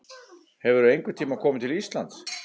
Hefurðu einhvern tíma komið til Íslands?